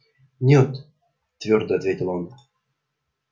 нет твёрдо ответил он